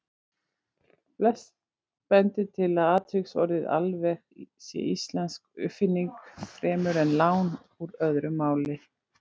Flest bendir til að atviksorðið alveg sé íslensk uppfinning fremur en lán úr öðru máli.